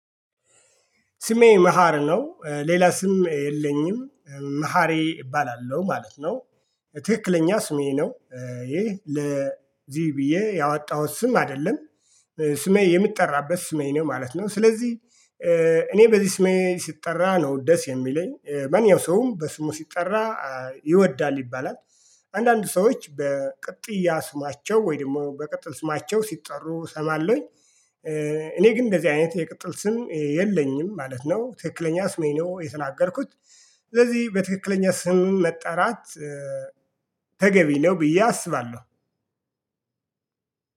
ስሜ መሃር ነው ሌላ ስም የለኝም መሃሬ እባላለሁ ማለት ነው። ትክክለኛ ስሜ ነው። ይህ ለዚሁ ብዬ ያወጣሁት ስም አይደለም። ስሜ የምጠራበት ስሜ ነው ማለት ነው ስለዚህ እኔ በዚህ ስሜ ስጠራ ነው ደስ የሚለኝ ማንኛው ሰውም በስሙ ሲጠራ ይወዳል ይባላል። አንዳንድ ሰዎች በቅጥያ ስማቸው ወይ ደግሞ በቅጥል ስማቸው ሲጠሩ እሰማለሁኝ። እኔ ግን እንደዚህ አይነት የቅጥል ስም የለኝም ማለት ነው ትክክለኛ ስሜ ነው የተናገርኩት። ስለዚህ በትክክለኛ ስም መጠራት ተገቢ ነው ብዬ አስባለሁ።